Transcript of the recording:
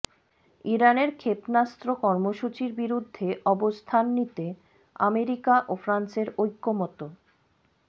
ইরানের ক্ষেপণাস্ত্র কর্মসূচির বিরুদ্ধে অবস্থান নিতে আমেরিকা ও ফ্রান্সের ঐক্যমত্য